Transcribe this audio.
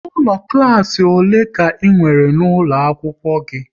Ụlọ klas ole ka e nwere n'ụlọ akwụkwọ gị?